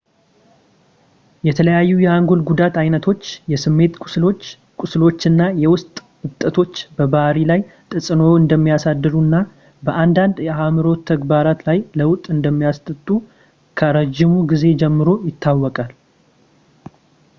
የተለያዩ የአንጎል ጉዳት ዓይነቶች ፣ የስሜት ቁስሎች፣ ቁስሎች እና የውስጥ እብጠቶች በባህሪ ላይ ተጽዕኖ እንደሚያሳድሩ እና በአንዳንድ የአእምሮ ተግባራት ላይ ለውጥ እንደሚያመጡ ከረዥም ጊዜ ጀምሮ ይታወቃል